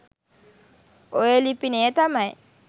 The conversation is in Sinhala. ඔය ලිපිනය තමයි.